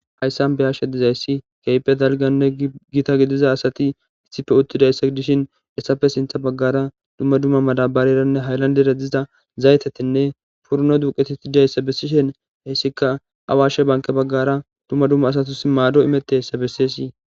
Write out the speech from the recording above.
Hayssan beyashe dizayssi keyphedalganne gita gidiza asati issife uttidayssa dishin essafe sintha baggara dumma dumma madabareranne haylandere diza zaytetenne purno duqetitidayssa bessishen heessika awaashe banke baggara dumma dumma asatus maado imette essa bessesi